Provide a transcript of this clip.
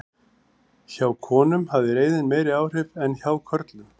Hjá konum hafði reiðin meiri áhrif en hjá körlum.